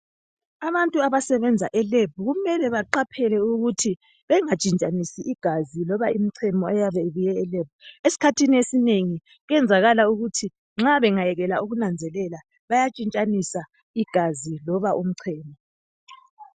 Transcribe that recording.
Abantu abasebenza e"lab" kumele baqaphele ukuthi bangatshintshanisi igazi loba imchemo eyabe ibuye e"lab".Esikhathini esinengi kuyenzakala ukuthi nxa bengayekela ukunanzelela bayatshintshanisa igazi loba umchemo.